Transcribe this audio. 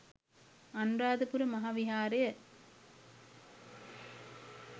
Anuradhapura Maha Viharaya